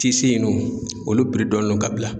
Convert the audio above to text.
Tisin in dun, olu donnen don ka bila.